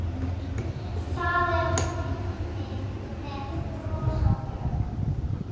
Það er Hemmi með bros á vör.